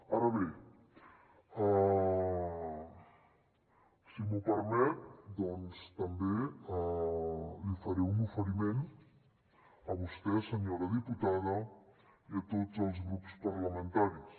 ara bé si m’ho permet doncs també li faré un oferiment a vostè senyora diputada i a tots els grups parlamentaris